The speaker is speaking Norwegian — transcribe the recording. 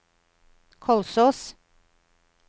Kolsås